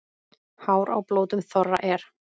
Hár á blótum þorra er.